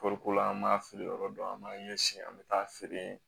Kɔɔriko la an b'a feere yɔrɔ dɔn an b'a ɲɛsin an bɛ taa feere